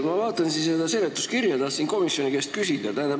Ma vaatan siin seda seletuskirja ja tahtsin komisjoni esindaja käest küsida.